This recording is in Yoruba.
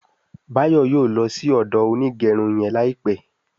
Bayo yóò ló sì odo Onigerun yén láìpé.